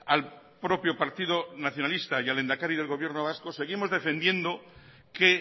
al propio partido nacionalista y al lehendakari del gobierno vasco seguimos defendiendo que